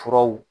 Furaw